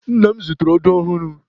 Nna m zụtara odo ọhụrụ.